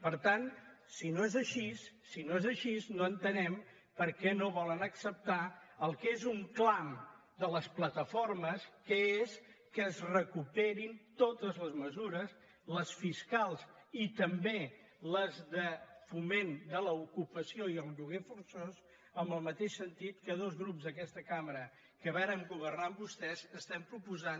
per tant si no és així si no és així no entenem per què no volen acceptar el que és un clam de les plataformes que és que es recuperin totes les mesures les fiscals i també les de foment de l’ocupació i el lloguer forçós en el mateix sentit que dos grups d’aquesta cambra que vàrem governar amb vostès proposem